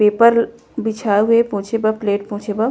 paper बिछाये हे पोछे बर प्लेट पोछे बर --